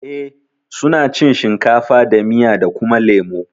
Eh suna cin shinkafa da miya da kuma lemo